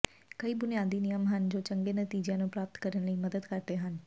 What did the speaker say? ਕਈ ਬੁਨਿਆਦੀ ਨਿਯਮ ਹਨ ਜੋ ਚੰਗੇ ਨਤੀਜਿਆਂ ਨੂੰ ਪ੍ਰਾਪਤ ਕਰਨ ਵਿਚ ਮਦਦ ਕਰਦੇ ਹਨ